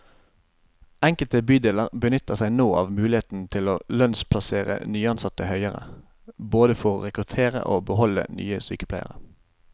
Enkelte bydeler benytter seg nå av muligheten til å lønnsplassere nyansatte høyere, både for å rekruttere og beholde nye sykepleiere.